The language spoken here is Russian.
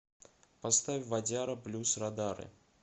поставь вадяра блюз радары